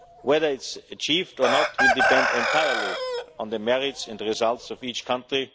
you like. Whether it is achieved or not will depend entirely on the merits and results of each